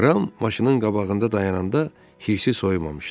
Ram maşının qabağında dayananda hirsi soyumamışdı.